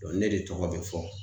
ne de tɔgɔ be fɔ.